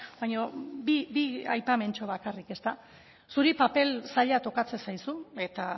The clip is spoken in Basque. baina bi aipamentxo bakarrik ezta zuri papel zaila tokatzen zaizu eta